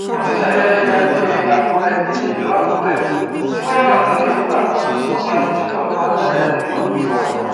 olùṣeyẹ ìyíáde àkùrẹ dèjì ìlú àkùrẹ tí wọn rọ lóyè nígbà kan ọba adésínà olùwádàrẹ adépọjù ti wájà